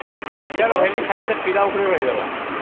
ଶିକ୍ଷା କହିଲେ ଖାଲି ଯେ ସେ ପିଲା ଉପରେ ରହିଗଲା